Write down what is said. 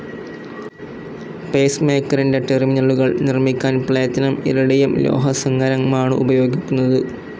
Pace മേക്കറിന്റെ ടേർമിനലുകൾ നിർമ്മിക്കൻ പ്ലേറ്റിനും ഇറിഡിയം ലോഹസങ്ങരമാണുപയോഗിക്കുന്നത്.